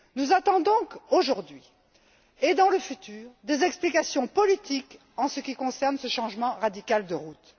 Nous attendons aujourd'hui, et dans le futur, des explications politiques en ce qui concerne ce changement radical de route.